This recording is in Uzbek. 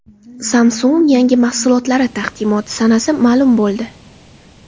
Samsung yangi mahsulotlari taqdimoti sanasi ma’lum bo‘ldi.